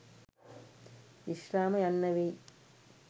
විශ්‍රාම යන්න වෙයි.